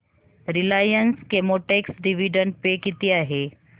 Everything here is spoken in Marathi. रिलायन्स केमोटेक्स डिविडंड पे किती आहे